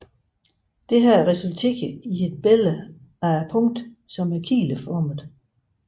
Dette resulterer et billede af punktet som er kileformet